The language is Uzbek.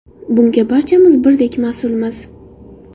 Bunga barchamiz birdek mas’ulmiz.